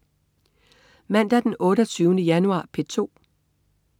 Mandag den 28. januar - P2: